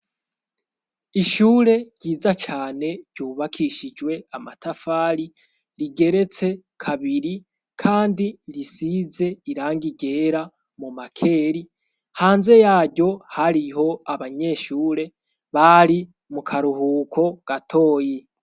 ishure ryiza cane ryubakishijwe amatafari rigeretse kabiri kandi risize irangi ryera mu makeri hanze yaryo hariho abanyeshure bari mu karuhuko gatoyi.